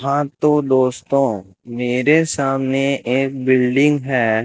हां तो दोस्तों मेरे सामने एक बिल्डिंग है।